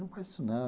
Não faz isso não.